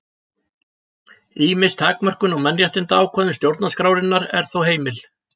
Ýmis takmörkun á mannréttindaákvæðum stjórnarskrárinnar er þó heimil.